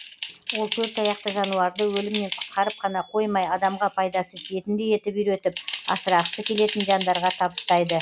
ол төртаяқты жануарды өлімнен құтқарып қана қоймай адамға пайдасы тиетіндей етіп үйретіп асырағысы келетін жандарға табыстайды